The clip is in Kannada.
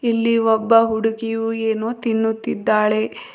ಇಲ್ಲಿ ಒಬ್ಬ ಹುಡುಗಿಯು ಏನೋ ತಿನ್ನುತ್ತಿದ್ದಾಳೆ.